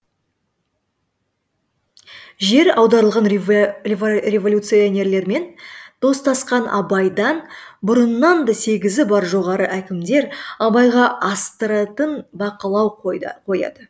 жер аударылған революционерлермен достасқан абайдан бұрыннан да сезігі бар жоғары әкімдер абайға астыртын бақылау қояды